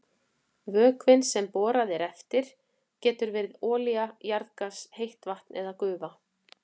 Vökvinn sem borað er eftir getur verið olía, jarðgas, heitt vatn eða gufa.